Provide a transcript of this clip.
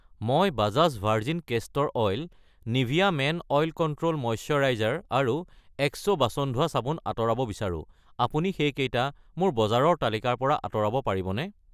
মই Bajaj virgin castor oil , Nivea men oil control moisturiser আৰু Exo বাচন ধোৱা চাবোন আঁতৰাব বিচাৰো, আপুনি সেইকেইটা মোৰ বজাৰৰ তালিকাৰ পৰা আঁতৰাব পাৰিবনে?